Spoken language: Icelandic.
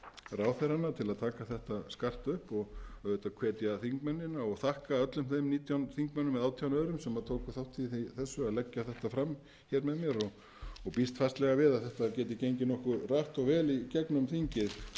ráðherrana til að taka þetta skarpt upp og auðvitað hvetja þingmennina og þakka öllum þeim nítján þingmönnum eða átján öðrum sem tóku þátt í að leggja þetta fram með mér og býst fastlega við að þetta geti gengið nokkuð hratt og vel í